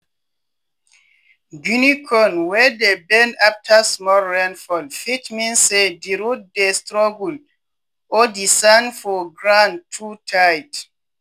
guinea corn wey dey bend after small rain fall fit mean say di root dey struggle or di sand for grand too tight.